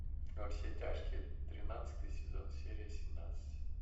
во все тяжкие тринадцатый сезон серия семнадцать